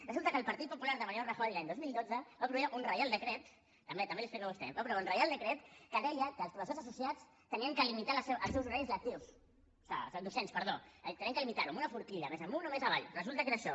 resulta que el partit popular de mariano rajoy l’any dos mil dotze va aprovar un reial decret també també l’hi explico a vostè que deia que els professors associats havien de limitar els seus horaris docents havien de limitar los amb una forquilla més amunt o més avall resulta que era això